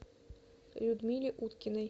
людмиле уткиной